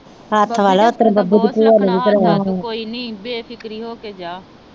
ਕੋਈ ਨਹੀਂ ਬੇਫਿਕਰੀ ਹੋ ਕੇ ਜਾ